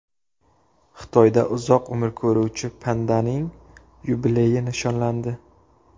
Xitoyda uzoq umr ko‘ruvchi pandaning yubileyi nishonlandi.